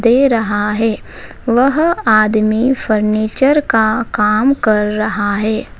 दे रहा है वह आदमी फर्नीचर का काम कर रहा है।